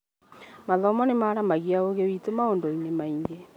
Mathomo nĩ maaramagia ũgĩ witũ maũndũ-inĩ maingĩ